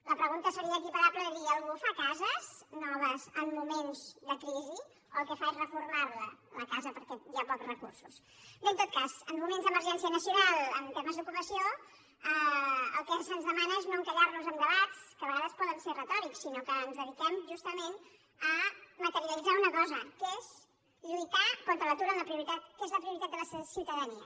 la pregunta seria equiparable a dir algú fa cases noves en moments de crisi o el que fa és reformar la la casa perquè hi ha pocs recursos bé en tot cas en moments d’emergència nacional en termes d’ocupació el que se’ns demana és no encallar nos en debats que a vegades poden ser retòrics sinó que ens dediquem justament a materialitzar una cosa que és lluitar contra l’atur que és la prioritat de la ciutadania